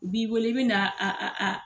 O b'i weele i bɛ na a a.